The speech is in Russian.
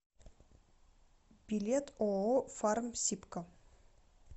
билет ооо фармсибко